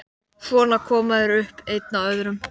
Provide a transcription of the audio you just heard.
Svo koma þeir upp, einn af öðrum.